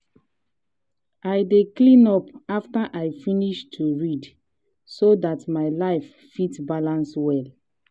i dey cleean up after i finish to read so dat my life fit balance well.